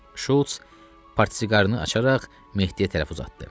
Şults partsiqarını açaraq Mehdiyə tərəf uzatdı.